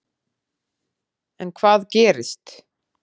En hvað gerist.